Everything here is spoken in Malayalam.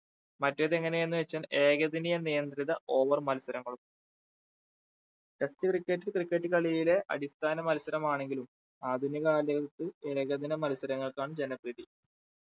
മറ്റേത് എങ്ങനെ എന്നുവെച്ചാൽ ഏകതനിയ നിയന്ത്രിത over മത്സരങ്ങളും test cricket cricket കളിയിലെ അടിസ്ഥാന മത്സരമാണെങ്കിലും ആധുനിക കാലത്ത് ഏകദിന മത്സരങ്ങൾക്കാണ് ജന പ്രീതി